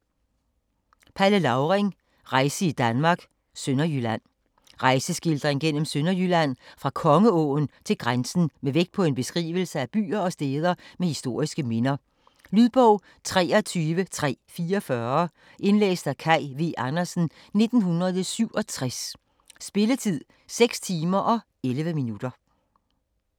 Lauring, Palle: Rejse i Danmark: Sønderjylland Rejseskildring gennem Sønderjylland fra Kongeåen til grænsen med vægt på en beskrivelse af byer og steder med historiske minder. Lydbog 23344 Indlæst af Kaj V. Andersen, 1967. Spilletid: 6 timer, 11 minutter.